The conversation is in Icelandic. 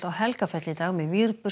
Helgafell í dag með